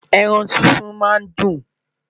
ẹran sísun má n dun